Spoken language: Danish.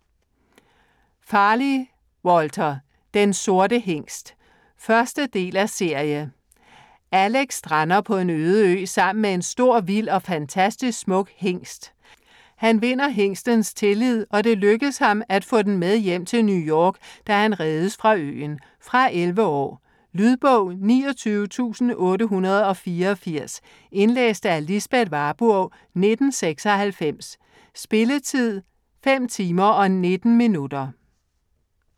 Farley, Walter: Den sorte hingst 1. del af serie. Alec strander på en øde ø sammen med en stor, vild og fantastisk smuk hingst. Han vinder hingstens tillid, og det lykkes ham at få den med hjem til New York, da han reddes fra øen. Fra 11 år. Lydbog 29884 Indlæst af Lisbeth Warburg, 1996. Spilletid: 5 timer, 19 minutter.